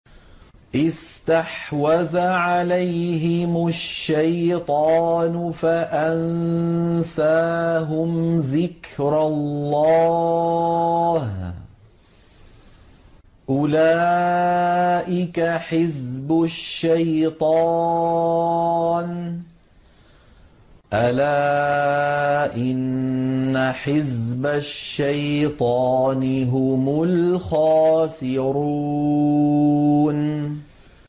اسْتَحْوَذَ عَلَيْهِمُ الشَّيْطَانُ فَأَنسَاهُمْ ذِكْرَ اللَّهِ ۚ أُولَٰئِكَ حِزْبُ الشَّيْطَانِ ۚ أَلَا إِنَّ حِزْبَ الشَّيْطَانِ هُمُ الْخَاسِرُونَ